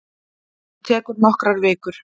Hún tekur nokkrar vikur.